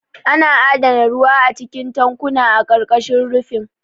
Ana adana ruwa a cikin tankuna a ƙarƙashin rufin.